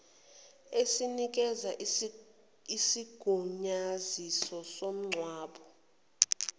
esinikeza isigunyaziso somngcwabo